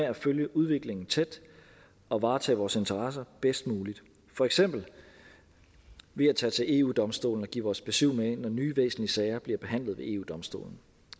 at følge udviklingen tæt og varetage vores interesser bedst muligt for eksempel ved at tage til eu domstolen og give vores besyv med når nye væsentlige sager bliver behandlet ved eu domstolen